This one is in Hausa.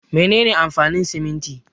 Mene ne amfanin siminti?